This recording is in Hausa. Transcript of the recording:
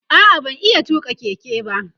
a'a ban iya tuƙa Keke ba